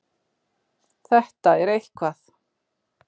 Þetta er eitthvað.